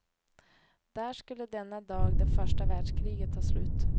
Där skulle denna dag det första världskriget ta slut.